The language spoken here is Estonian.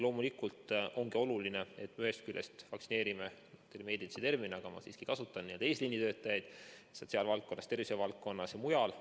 Loomulikult ongi oluline, et me ühest küljest vaktsineerime eesliinitöötajaid sotsiaalvaldkonnas, tervishoiuvaldkonnas ja mujal.